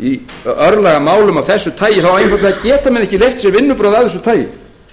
í örlagamálum af þessu tagi geta menn ekki leyft sér vinnubrögð af þessu tagi